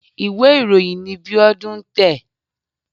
Ìwé ìròyìn ni Bíọ́dún ń tẹ̀.